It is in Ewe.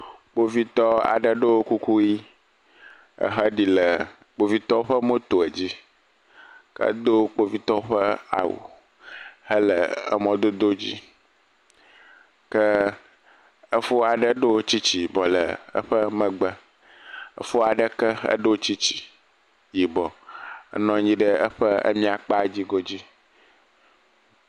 Kpovitɔ aɖe ɖɔ kuku ʋi, ehe ɖi le kpovitɔwo ƒe moto dzi, hedo kpovitɔ ƒe awu je emɔ dodo ke efo aɖe ɖo tsitsi le eƒe me, efo aɖe ɖɔ tsitsi yibɔ enɔ anyi ɖe eƒe emia kpa dzi go dzi